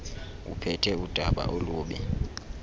uphethe udaba olubi